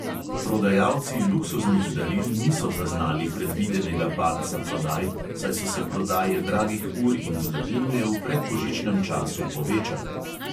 Prodajalci luksuznih daril niso zaznali predvidenega padca prodaj, saj so se prodaje dragih ur in zlatnine v predbožičnem času povečale.